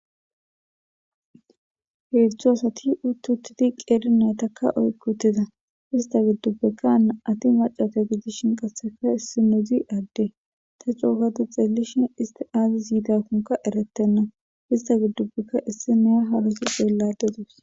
heedzdzu asati uttuttidi qeeri naytakka oykutiza ista giddubbekkaa ati macata gidishin qasseka issi nodzi adde ta coogatu xeelishin isti aazi yiidakkonka eretenna ista giddubbekka issi neya harusi xeelladedus